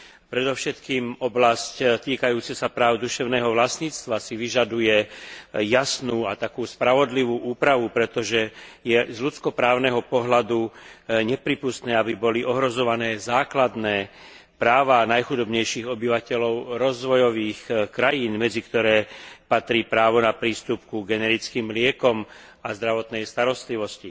Predovšetkým oblasť týkajúca sa práv duševného vlastníctva si vyžaduje jasnú a spravodlivú úpravu, pretože je z ľudsko právneho pohľadu neprípustné, aby boli ohrozované základné práva najchudobnejších obyvateľov rozvojových krajín, medzi ktoré patrí právo na prístup ku generickým liekom a k zdravotnej starostlivosti.